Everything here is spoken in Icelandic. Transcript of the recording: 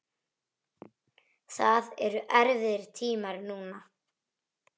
Það eru erfiðir tímar núna.